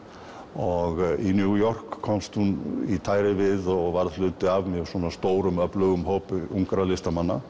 og í New York komst hún í tæri við og varð hluti af mjög stórum og öflugum hóp ungra listamanna